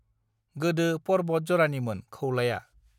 गोदो परबत जरानिमोन खौलाया